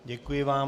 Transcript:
Děkuji vám.